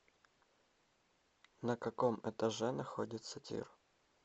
на каком этаже находится тир